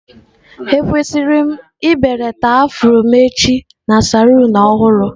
Ekwesịrị m ibelata afro m echi na saloon ọhụrụ?